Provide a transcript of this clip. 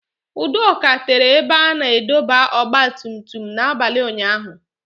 Udoka tere ebe a na-adọba ọgba tum tum n'abalị ụnyaahụ